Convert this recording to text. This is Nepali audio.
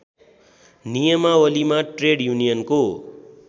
नियमावलीमा ट्रेड युनियनको